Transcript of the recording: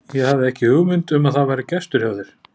Ég hafði ekki hugmynd um að það væri gestur hjá þér.